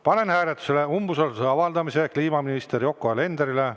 Panen hääletusele umbusalduse avaldamise kliimaminister Yoko Alenderile.